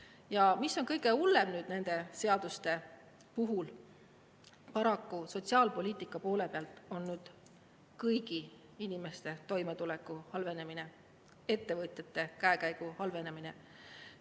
Ja mis on kõige hullem nende seaduste puhul: paraku sotsiaalpoliitika poole pealt kõigi inimeste toimetuleku halvenemine ja ettevõtjate käekäigu halvenemine.